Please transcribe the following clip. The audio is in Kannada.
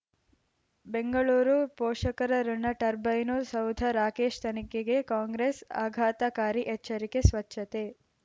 ಬೆಂಗಳೂರು ಪೋಷಕರಋಣ ಟರ್ಬೈನು ಸೌಧ ರಾಕೇಶ್ ತನಿಖೆಗೆ ಕಾಂಗ್ರೆಸ್ ಆಘಾತಕಾರಿ ಎಚ್ಚರಿಕೆ ಸ್ವಚ್ಛತೆ